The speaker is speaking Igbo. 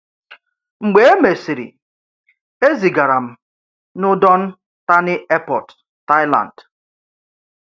Mgbe e mesịrị, e zigàrà m n’Ụ̀dọ̀n Tánì Épọ̀t, Tháiláńd.